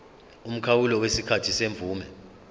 umkhawulo wesikhathi semvume